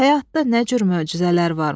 Həyatda nə cür möcüzələr varmış.